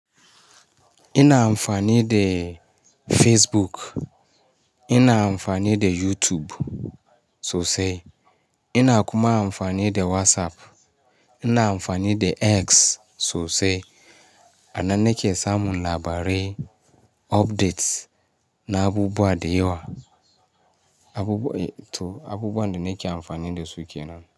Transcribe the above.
Ina amfani da Facebook, ina amfani da YouTube sosai. Ina kuma amfani da WhatsApp. Ina amfani da X sosai. A nan na ke samun labarai, updates na abubuwa da yawa. Abubuwa, to abubuwa da nake amfani dasu kenan.